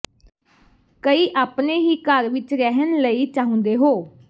ਕਈ ਆਪਣੇ ਹੀ ਘਰ ਵਿਚ ਰਹਿਣ ਲਈ ਚਾਹੁੰਦੇ ਹੋ